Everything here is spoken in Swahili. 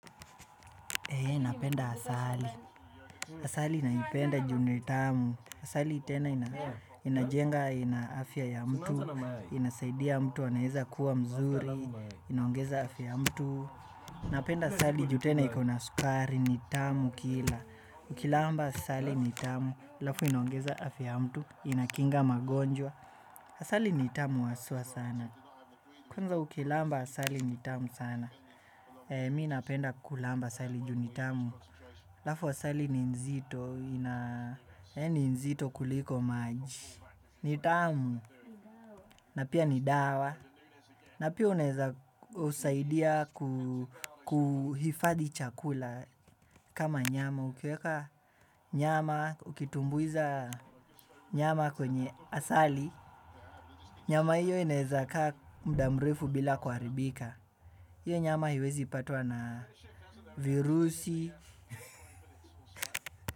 Ee, napenda asali. Asali naipenda juu ni tamu. Asali tena inajenga ina afya ya mtu, inasaidia mtu, anaeza kuwa mzuri, inaongeza afya mtu. Napenda asali, ju tena iko na sukari, ni tamu kila. Ukilamba asali ni tamu, alafu inaongeza afya mtu, inakinga magonjwa. Asali nitamu hasua sana. Kwanza ukilamba asali ni tamu sana. Mi napenda kulamba asali ju ni tamu. Alafu asali ni nzito, ni nzito kuliko maji, ni tamu, na pia ni dawa, na pia unaeza husaidia kuhifadi chakula kama nyama, ukiweka nyama, ukitumbuiza nyama kwenye asali, nyama hiyo inaezaka muda mrefu bila kuharibika, hiyo nyama haiwezi patwa na virusi.